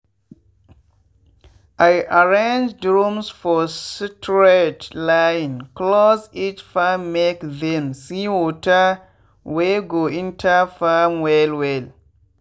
i arrange drums for straight line close each farmmake them see water wey go enter farm well well.